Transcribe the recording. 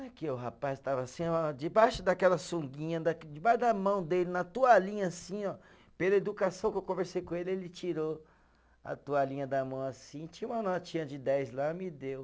O rapaz estava assim ó, debaixo daquela sunguinha, debaixo da mão dele, na toalhinha assim ó, pela educação que eu conversei com ele, ele tirou a toalhinha da mão assim, tinha uma notinha de dez lá, me deu.